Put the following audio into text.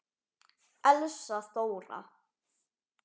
Elsa Þóra.